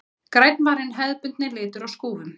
Grænn var hinn hefðbundni litur á skúfum.